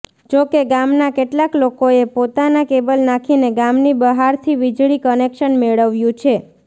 જો કે ગામનાં કેટલાક લોકોએ પોતાનાં કેબલ નાખીને ગામની બહારથી વીજળી કનેક્શન મેળવ્યું છે